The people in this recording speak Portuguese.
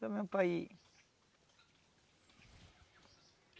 Só mesmo para ir.